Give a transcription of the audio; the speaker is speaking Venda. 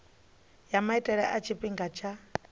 ya maitele a tshifhinga tsha